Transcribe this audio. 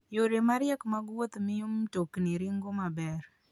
Yore mariek mag wuoth miyo mtokni ringo maber.